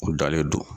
U dalen don